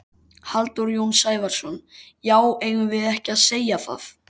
Halldór Jón Sævarsson: Já eigum við ekki að segja það?